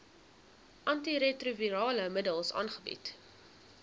antiretrovirale middels aangebied